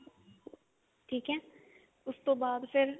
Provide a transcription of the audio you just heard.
ਠੀਕ ਹੈ ਉਸਤੋਂ ਬਾਅਦ ਫ਼ੇਰ